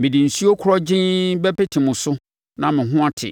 Mede nsuo korɔgyenn bɛpete mo so na mo ho ate: